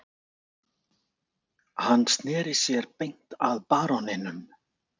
Hann sneri sér beint að baróninum